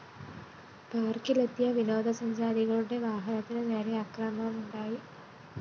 പാര്‍ക്കിലെത്തിയ വിനോദസഞ്ചാരികളുടെ വാഹനത്തിന് നേരെ അക്രമവുമണ്ടായി